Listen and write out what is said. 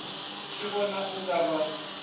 tshi vhona u nga vha